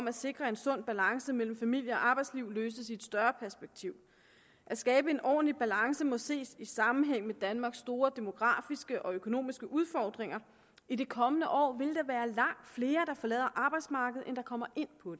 at sikre en sund balance mellem familie og arbejdsliv løses i et større perspektiv at skabe en ordentlig balance må ses i sammenhæng med danmarks store demografiske og økonomiske udfordringer i de kommende år vil der være langt flere der forlader arbejdsmarkedet end der kommer ind på